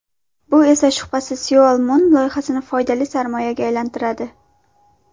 Bu esa shubhasiz Seoul Mun loyihasini foydali sarmoyaga aylantiradi.